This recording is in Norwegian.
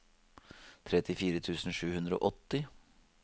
trettifire tusen sju hundre og åtti